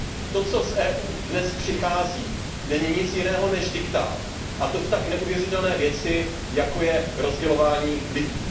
To, co z Evropské unie dnes přichází, není nic jiného než diktát, a to v tak neuvěřitelné věci, jako je rozdělování lidí.